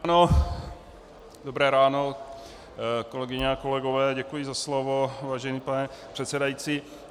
Dobré ráno, kolegyně a kolegové, děkuji za slovo, vážený pane předsedající.